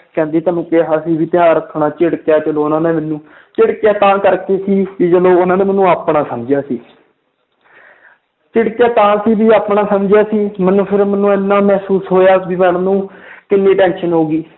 ਕਹਿੰਦੀ ਤੈਨੂੰ ਕਿਹਾ ਸੀ ਵੀ ਧਿਆਨ ਰੱਖਣਾ ਝਿੜਕਿਆ ਚਲੋ ਉਹਨਾਂ ਨੇ ਮੈਨੂੰ ਝਿੜਕਿਆ ਤਾਂ ਕਰਕੇ ਸੀ ਵੀ ਚਲੋ ਉਹਨਾਂ ਨੇ ਮੈਨੂੰ ਆਪਣਾ ਸਮਝਿਆ ਸੀ ਝਿੜਕਿਆ ਤਾਂ ਸੀ ਵੀ ਆਪਣਾ ਸਮਝਿਆ ਸੀ ਮੈਨੂੰ ਫਿਰ ਮੈਨੂੰ ਇੰਨਾ ਮਹਿਸੂਸ ਹੋਇਆ ਵੀ madam ਨੂੰ ਕਿੰਨੀ tension ਹੋ ਗਈ।